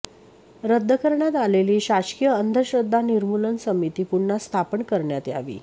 रद्द करण्यात आलेली शासकीय अंधश्रद्धा निमूर्लन समिती पुन्हा स्थापन करण्यात यावी